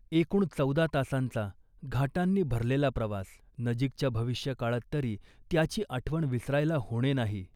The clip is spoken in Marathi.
एकूण चौदा तासांचा, घाटांनी भरलेला प्रवास. नजीकच्या भविष्यकाळात तरी त्याची आठवण विसरायला होणे नाही